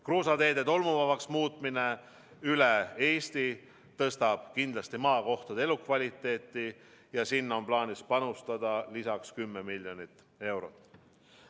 Kruusateede tolmuvabaks muutmine üle Eesti tõstab kindlasti maakohtade elukvaliteeti ja sinna on plaanis panustada lisaks 10 miljonit eurot.